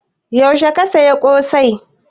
Yaushe ka saya ƙosai?